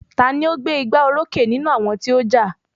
Ta ni ó gbé igbá orókè nínú àwọn tí wọ́n ja?